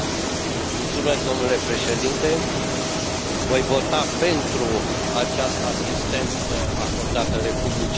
Domnule președinte, voi vota pentru această asistență acordată Republicii Moldova.